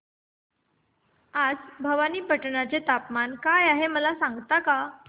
आज भवानीपटना चे तापमान काय आहे मला सांगता का